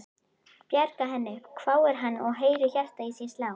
Bjarga henni? hváir hann og heyrir hjartað í sér slá.